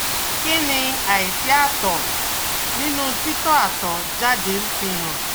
Kí ni aisi atọ́ ninu titọ atọ jáde ń fi hàn?